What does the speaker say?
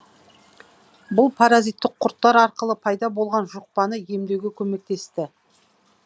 бұл паразиттік құрттар арқылы пайда болған жұқпаны емдеуге көмектесті